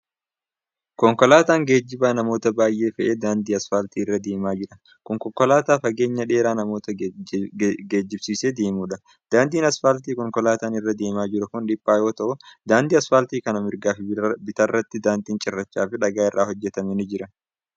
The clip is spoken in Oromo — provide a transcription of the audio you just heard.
Konkolaataan geejibaa namoota baay'ee fe'ee daandii asfaaltii irra deemaa jiru kun, konkolaataa fageenya dheeraa namoota geejibsiisee deemu dha. Daandiin asfaaltii konkolaataan irra deemaa jiru kun dhiphaa yoo ta'u, daandii asfaaltii kana mirgaa fi bitaatti daandiin cirrachaa fi dhagaa irraa hojjatame ni jira.